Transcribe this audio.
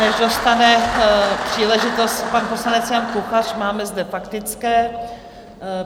Než dostane příležitost pan poslanec Jan Kuchař, máme zde faktické.